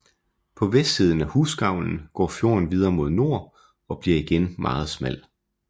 På vestsiden af Husgavlen går fjorden videre mod nord og bliver igen meget smal